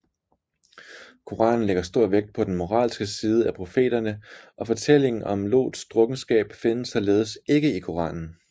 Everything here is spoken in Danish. Koranen lægger stor vægt på den moralske side af profeterne og fortællingen om Lots drukkenskab findes således ikke i Koranen